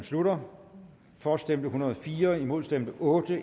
slutter for stemte en hundrede og fire imod stemte otte